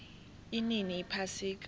inini iphasika